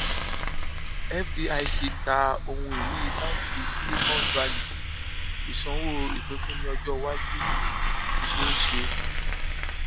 fdic ta ohun ìní báàǹkì silicon valley ìsanwó ìpínfúnni ọjọ iwájú ṣeé ṣe